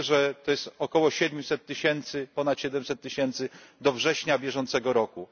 Wiemy, że to jest około siedmiuset tysięcy, ponad siedemset tysięcy do września bieżącego roku.